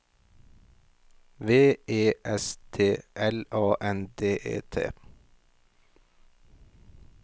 V E S T L A N D E T